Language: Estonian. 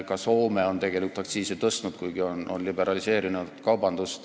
Ka Soome on aktsiise tõstnud, kuigi on kaubandust liberaliseerinud.